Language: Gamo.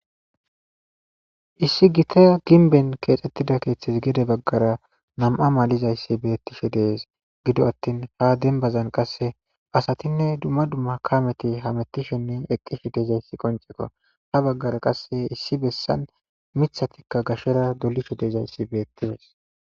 issi gite ginben keexxettida keeththes gede baggara nam7a malizayssi bettishe dees gido attin ha denbazan qasse asatinne dumma dumma kameti hamettishennen eqqishe deezayssi qonceko ha baggara qasse issi bessan mithatikka gashera dolisho deezayssi bettibes